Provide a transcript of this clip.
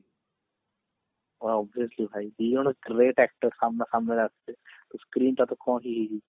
obviously ଭାଇ ଦି ଜଣ great actor screen ଟା ତ କଣ